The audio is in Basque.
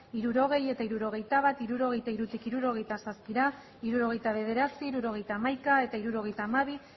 hirurogei eta hirurogeita bat hirurogeita hirutik hirurogeita zazpira hirurogeita bederatzi hirurogeita hamaika eta hirurogeita hamabi